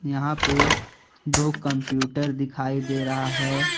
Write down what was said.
यहां पे दो कंप्यूटर दिखाई दे रहा हैं।